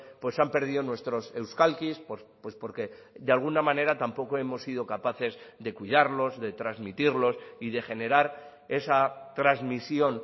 pues han perdido nuestros euskalkis pues porque de alguna manera tampoco hemos sido capaces de cuidarlos de transmitirlos y de generar esa transmisión